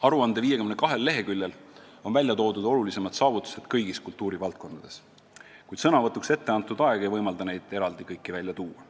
Aruande 52 leheküljel on välja toodud olulisemad saavutused kõigis kultuurivaldkondades, kuid sõnavõtuks ette antud aeg ei võimalda neid kõiki eraldi välja tuua.